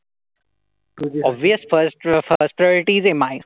बीस first प्रो first प्रोईटी दे माय.